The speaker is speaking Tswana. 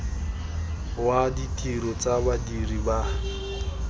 wa ditiro tsa badiri ba